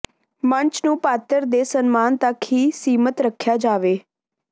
ਮੰਚ ਨੂੰ ਪਾਤਰ ਦੇ ਸਨਮਾਨ ਤੱਕ ਹੀ ਸੀਮਤ ਰੱਖਿਆ ਜਾਵੇ